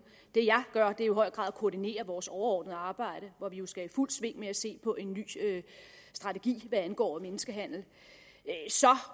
det jeg gør er i høj grad at koordinere vores overordnede arbejde hvor vi jo skal i fuld sving med at se på en ny strategi hvad angår menneskehandel så